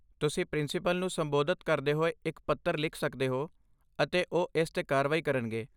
ਤੁਸੀਂ ਪ੍ਰਿੰਸੀਪਲ ਨੂੰ ਸੰਬੋਧਿਤ ਕਰਦੇ ਹੋਏ ਇੱਕ ਪੱਤਰ ਲਿਖ ਸਕਦੇ ਹੋ, ਅਤੇ ਉਹ ਇਸ 'ਤੇ ਕਾਰਵਾਈ ਕਰਨਗੇ।